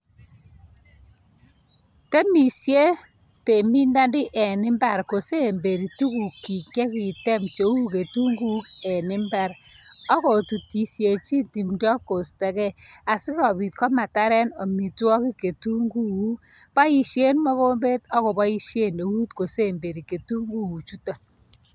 Temishet temindoni en imbar kosemberi tukuk chik chekitem cheu ketunguk en imbar ako tutishejin timdo kostogee a sikopit komataren omitwokik ketumguuk boishen mokombet ak koboishen eut kosemberi ketumguuk chuton.